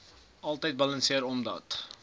altyd balanseer omdat